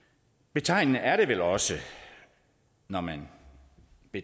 betegnende er det vel også når man